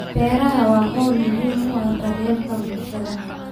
Beeruhu waa hawl muhiim u ah daryeelka bulshada.